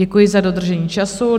Děkuji za dodržení času.